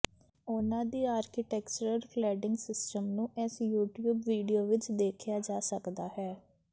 ਉਨ੍ਹਾਂ ਦੀ architectural cladding system ਨੂੰ ਇਸ ਯੂਟਿਊਬ ਵਿਡੀਓ ਵਿੱਚ ਦੇਖਿਆ ਜਾ ਸਕਦਾ ਹੈ